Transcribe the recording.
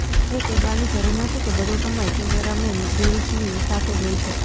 એ કહેવાની જરૂર નથી કે બધો સમય કેમેરામેન ગ્રીલ્સની સાથે જ હોય છે